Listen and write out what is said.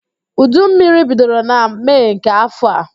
Udu mmiri bidoro na Mee nke afọ a